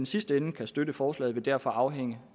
sidste ende kan støtte forslaget vil derfor afhænge